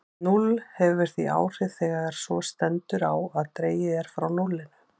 Núll hefur því áhrif þegar svo stendur á að dregið er frá núllinu.